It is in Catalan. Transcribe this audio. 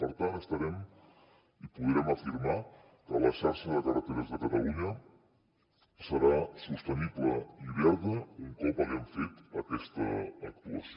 per tant estarem i podrem afirmar que la xarxa de carreteres de catalunya serà sostenible i verda un cop hàgim fet aquesta actuació